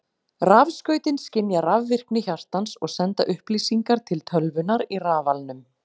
Rafskautin skynja rafvirkni hjartans og senda upplýsingar til tölvunnar í rafalnum.